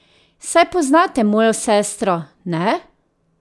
Saj poznate mojo sestro, ne?